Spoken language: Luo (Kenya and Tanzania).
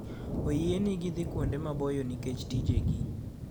Oyienegi dhi kuonde maboyo nikech tijegi.